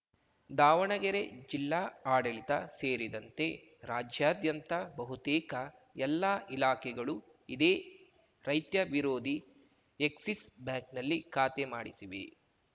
ದಾವಣಗೆರೆ ಜಿಲ್ಲಾ ಆಡಳಿತ ಸೇರಿದಂತೆ ರಾಜ್ಯಾದ್ಯಂತ ಬಹುತೇಕ ಎಲ್ಲಾ ಇಲಾಖೆಗಳೂ ಇದೇ ರೈತ ವಿರೋಧಿ ಎಕ್ಸಿಸ್‌ ಬ್ಯಾಂಕ್‌ನಲ್ಲಿ ಖಾತೆ ಮಾಡಿಸಿವೆ